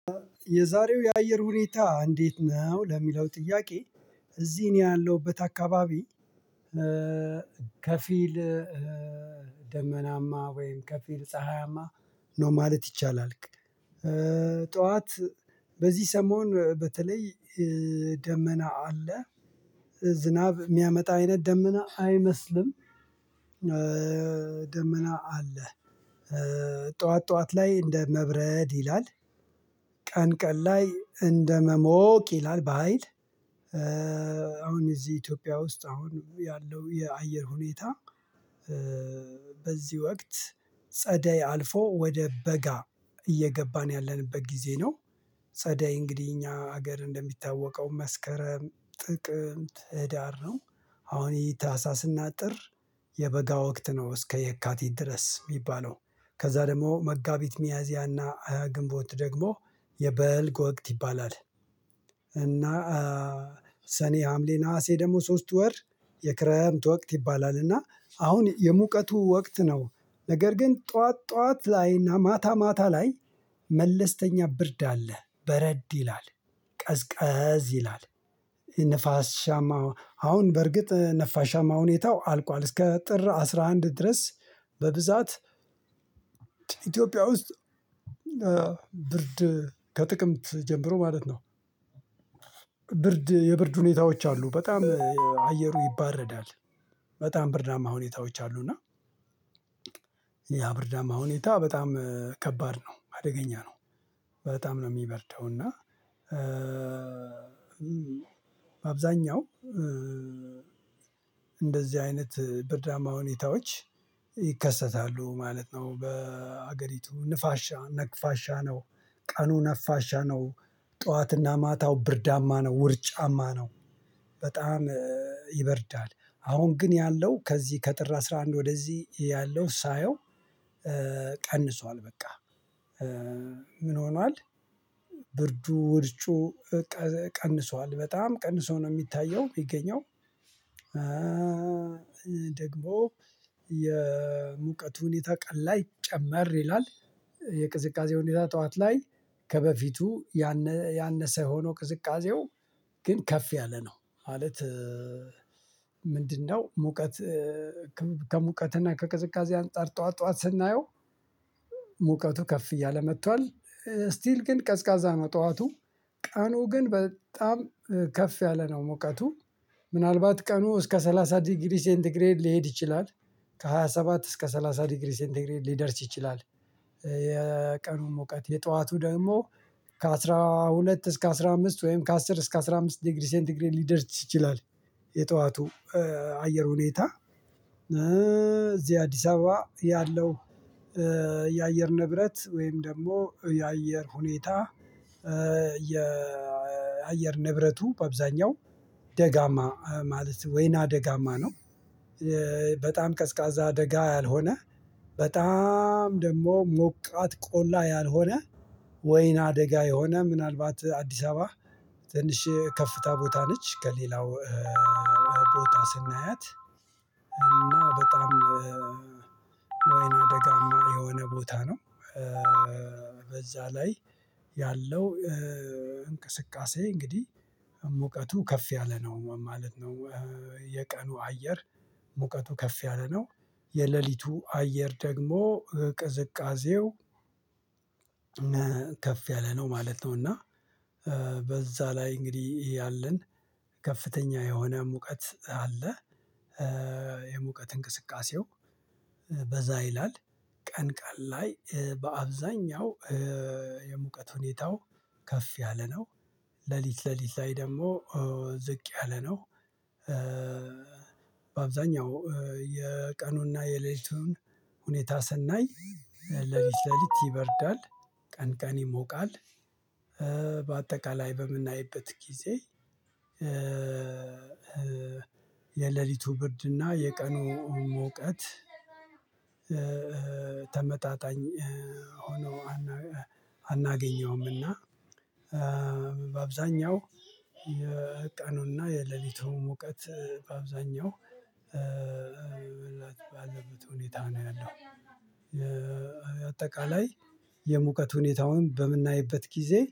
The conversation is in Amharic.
የዛሬው የአየር ሁኔታ እንዴት ነው? ለሚለው ጥያቄ እዚህ ነው ያለሁበት አካባቢ ከፊል ደመናማ ወይም ከፊል ፀሀያማ ነው ማለት ይቻላል ጠዋት በዚህ ሰሞን በተለይ ደመና አለ ዝናብ የሚያመጣ አይነት ደመና አይመስልም ደመና አለ ጠዋት ጠዋት ላይ እንደ መብረድ ይላል ቀን ቀን ላይ እንደመሞቅ ይላል በሃይል አሁን እዚህ ኢትዮጵያ ውስጥ አሁን ያለው የአየር ሁኔታ በዚህ ወቅት ጸደይ አልፎ ወደ በጋ እየገባን ያለንበት ጊዜ ነው ጸዳይ እንግዲህ እኛ ሀገር እንደሚታወቀው መስከረም ጥቅምት ህዳር ነው አሁን ይሄ ታህሳስና ጥር የበጋ ወቅት ነው እስከ የካቲት ድረስ የሚባለው ከዛ ደግሞ መጋቢት ሚያዚያና አያ ግንቦት ደግሞ የበልግ ወቅት ይባላል እና ሰኔ ሀምሌ ነሀሴ ደግሞ ሶስቱ ወር የክረምት ወቅት ይባላልና አሁን የሙቀቱ ወቅት ነው ነገር ግን ጠዋት ጠዋት ላይና ማታ ማታ ላይ መለስተኛ ብርድ አለ በረድ ይላል ቀዝቀዝ ይላል አሁን በርግጥ ነፋሻማ ሁኔታው አልቋል እስከ ጥር አስራ አንድ ድረስ በብዛት ኢትዮጵያ ውስጥ ብርድ ከጥቅምት ጀምሮ ማለት ነው ብርድ የብርድ ሁኔታዎች አሉ በጣም አየሩ ይባረዳል በጣም ብርዳማ ሁኔታዎች አሉ እና ያ ብርዳማ ሁኔታ በጣም ከባድ ነው አደገኛ ነው በጣም ነው የሚበርደው እና በአብዛኛው እንደዚህ አይነት ብርዳማ ሁኔታዎች ይከሰታሉ ማለት ነው በሀገሪቱ ንፋሻ ነፋሻ ነው ቀኑ ነፋሻ ነው ጠዋትና ማታው ብርዳማ ነው ውርጫማ ነው በጣም ይበርዳል አሁን ግን ያለው ከዚህ ከጥር አስራ አንድ ወደዚህ ያለው ሳየው ቀንሷል በቃ ምን ሆኗል ብርዱ ውርጩ ቀንሷል በጣም ቀንሶ ነው የሚታየው የሚገኘው ይህ ደግሞ የሙቀቱን ሁኔታ ቀን ላይ ጨመር ይላል የቅዝቃዜ ሁኔታ ጠዋት ላይ ከበፊቱ ያነ ያነሰ ሆኖ ቅዝቃዜው ግን ከፍ ያለ ነው ማለት ምንድነው ሙቀት ከሙቀትና ከቅዝቃዜ አንፃር ጠዋት ጠዋት ስናየው ሙቀቱ ከፍ እያለ መጥቷል ስቲል ግን ቀዝቃዛ ነው ጠዋቱ ቀኑ ግን በጣም ከፍ ያለ ነው ሙቀቱ ምናልባት ቀኑ እስከ ሰላሳ ዲግሪ ሴንተግሬድ ሊሄድ ይችላል ከሃያ ሰባት እስከ ሰላሳ ዲግሪ ሴንተግሬት ሊደርስ ይችላል የቀኑ ሙቀት የጧቱ ደግሞ ከአስራ ሁለት እስከ አስራ አምስት ወይም ከአስር እስከ አስራ አምስት ዲግሪ ሴንት ዲግሪ ሊደርስ ይችላል የጠዋቱ አየር ሁኔታ እዚህ አዲስ አበባ ያለው የአየር ንብረት ወይም ደግሞ የአየር ሁኔታ የአየር ንብረቱ በአብዛኛው ደጋማ ማለት ወይና ደጋማ ነው በጣም ቀዝቃዛ ደጋ ያልሆነ በጣም ደግሞ ሞቃት ቆላ ያልሆነ ወይናደጋ የሆነ ምናልባት አዲስ አበባ ትንሽ ከፍታ ቦታ ነች ከሌላው ቦታ ስናያት በጣም ወይና ደጋማ የሆነ ቦታ ነው ላይ ያለው እንቅስቃሴ እንግዲህ ሙቀቱ ከፍ ያለ ነው ማለት ነው የቀኑ አየር ሙቀቱ ከፍ ያለ ነው የሌሊቱ አየር ደግሞ ቅዝቃዜው ከፍ ያለ ነው ማለት ነው እና በዛ ላይ እንግዲህ ይሄ አለን ከፍተኛ የሆነ ሙቀት አለ እንቅስቃሴው በዛ ይላል ቀን ቀን ላይ በአብዛኛው የሙቀት ሁኔታው ከፍ ያለ ነው ሌሊት ሌሊት ላይ ደግሞ ዝቅ ያለ ነው በአብዛኛው የቀኑና የሌሊቱን ሁኔታ ስናይ ሌሊት ሌሊት ይበርዳል ቀን ቀን ይሞቃል በአጠቃላይ በምናይበት ጊዜ የሌሊቱ ብርድና የቀኑ ሙቀት ተመጣጣኝ ሆነው አና አናገኘውምና በአብዛኛው የቀኑና የሌሊቱን ሙቀት በአብዛኛው በላት ባዘበት ሁኔታ ነው ያለው አጠቃላይ የሙቀት ሁኔታውን በምናይበት ጊዜ